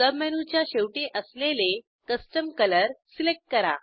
सबमेनूच्या शेवटी असलेले custom colour select करा